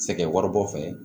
Sɛgɛn waribɔ fɛ